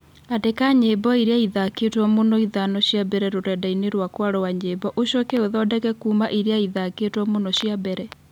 Andĩka nyĩmbo iria ithaakĩĩtwo mũno ithano cia mbere rũrenda-inĩ rwakwa rwa nyĩmbo ũcoke ũthondeke kuuma iria ithaakĩtwo mũno cia mbere